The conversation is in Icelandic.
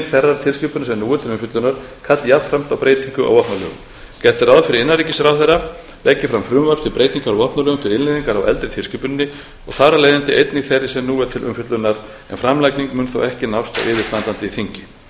þeirrar tilskipunar sem nú er til umfjöllunar kalli jafnframt á breytingu á vopnalögum gert er ráð fyrir að innanríkisráðherra leggi fram frumvarp til breytinga á vopnalögum til innleiðingar á eldri tilskipuninni og þar af leiðandi einnig þeirri sem nú er til umfjöllunar en framlagning mun þó ekki nást á yfirstandandi þingi innleiðing